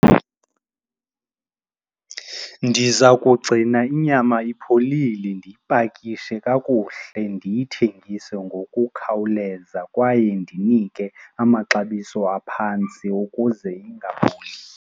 Ndiza kugcina inyama ipholile, ndiyipakishe kakuhle, ndiyithengise ngokukhawuleza kwaye ndinike amaxabiso aphantsi ukuze ingaboli.